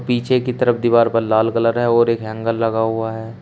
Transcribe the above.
पीछे की तरफ दीवार पर लाल कलर है और एक हैंगर लगा हुआ है।